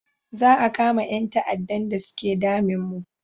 Za a kama yan ta'adan da suke damin mu